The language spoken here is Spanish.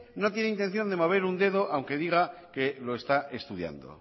no tiene intención de mover un dedo aunque diga que lo está estudiando